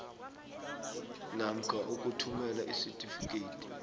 namkha ukuthumela isitifikedi